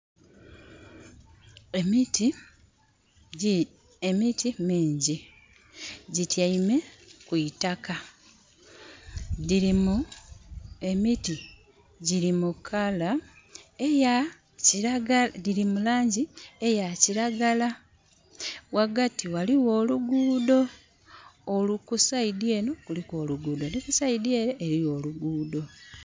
Emiti mingi gitiame kwitakka. Emiti diri mu langi eya kiragala . Wagati waliwo oluguudo. Ka saidi Eno kuliku oluguudo ni kusaidi ere eriyo oluguudo